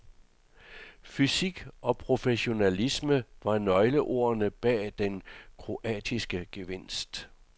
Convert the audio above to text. Fysik og professionalisme var nøgleordene bag den kroatiske gevinst.